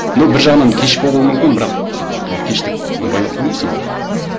но бір жағынан кеш болу мүмкін бірақ енді кеш деп оны байлап қоймайсың ғой мхм